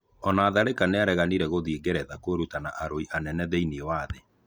Ona Tharĩka nĩareganĩra gũthiĩ Ngeretha kũĩruta na arũi anene thĩiniĩ wa thĩ.